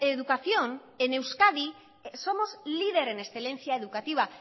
educación en euskadi somos líder en excelencia educativa